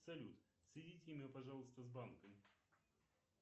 салют соедините меня пожалуйста с банком